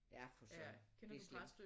Ja for søren det slemt